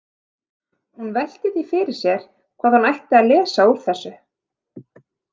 Hún velti því fyrir sér hvað hún ætti að lesa úr þessu.